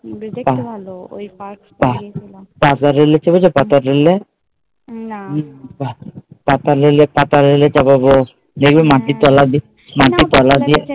পাতাল রেলে ছড়েছ, পাতাল রেলে পাতাল রেলে, পাতাল রেলে চড়াবো। দেখবে মাটির তোলা দিয়ে